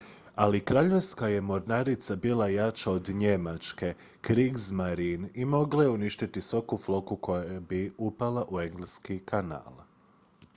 "ali kraljevska je mornarica bila jača od njemačke "kriegsmarine" i mogla je uništiti svaku flotu koja bi upala u engleski kanal.